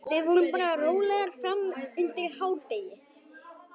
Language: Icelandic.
Við vorum bara rólegar fram undir hádegi.